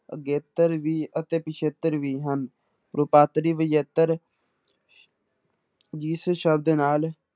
ਅਗੇਤਰ ਵੀ ਅਤੇ ਪਿੱਛੇਤਰ ਵੀ ਹਨ, ਰੂਪਾਂਤਰੀ ਵਿਜੇਤਰ ਜਿਸ ਸ਼ਬਦ ਨਾਲ